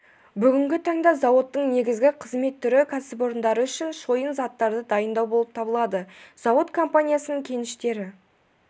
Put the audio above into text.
бүгінгі таңда зауыттың негізгі қызмет түрі кәсіпорындары үшін шойын заттарды дайындау болып табылады зауыт компанияның кеніштері